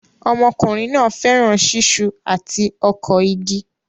Ọmọkùnrin náà fẹ́ràn ṣiṣu àti ọkọ̀ igi